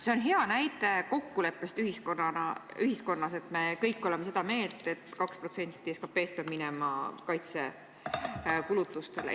See on hea näide kokkuleppest ühiskonnas, et me kõik oleme seda meelt, et 2% SKP-st peab minema kaitsekulutustele.